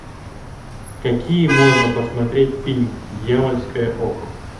какие можно посмотреть фильм дьявольское око